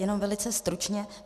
Jenom velice stručně.